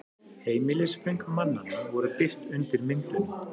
Heimilisföng mannanna voru birt undir myndunum